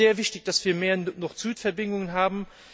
Es ist sehr wichtig, dass wir mehr Nord Süd Verbindungen haben.